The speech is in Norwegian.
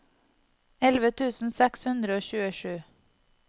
elleve tusen seks hundre og tjuesju